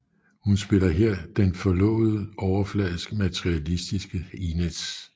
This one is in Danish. Hun spiller her den forlovet overfladiske og materilistiske Inez